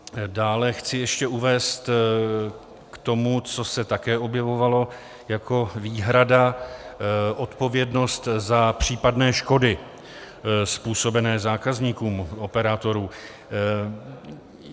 Dále chci ještě uvést k tomu, co se také objevovalo jako výhrada - odpovědnost za případné škody způsobené zákazníkům operátorů.